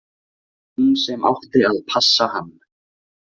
Hún sem átti að passa hann.